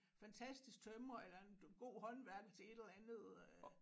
Fantastisk tømrer eller en god håndværker til et eller andet øh